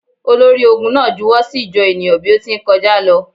Olori-ogun na juwọ si ijọ enia bi o ti nkọja lọ.